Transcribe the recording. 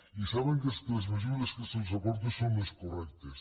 i saben que les mesures que se’ls aporta són les correctes